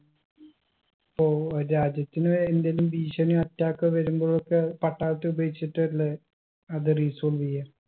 ഇപ്പൊ രാജ്യത്തിന് വേറെന്തെലും ഭീഷണിയോ attack ഒ വരുമ്പോഴൊക്കെ പട്ടാളത്തെ ഉപയോഗിച്ചിട്ടല്ലേ അത് resolve യ്യാ